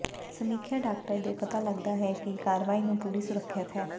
ਸਮੀਖਿਆ ਡਾਕਟਰ ਦੇ ਪਤਾ ਲੱਗਦਾ ਹੈ ਕਿ ਕਾਰਵਾਈ ਨੂੰ ਪੂਰੀ ਸੁਰੱਖਿਅਤ ਹੈ